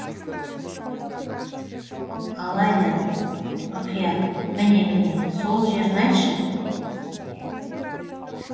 алайда ұрқия міне міне сол жерін айтшы